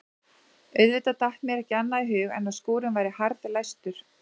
Auðvitað datt mér ekki annað í hug en að skúrinn væri harðlæstur.